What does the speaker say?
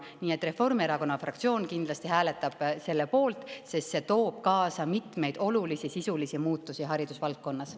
Nii et Reformierakonna fraktsioon kindlasti hääletab selle poolt, sest see toob kaasa mitmeid olulisi sisulisi muutusi haridusvaldkonnas.